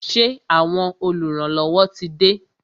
Ṣé àwọn oluranlowo tí de?